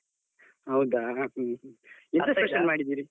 ಹೌದಾ, .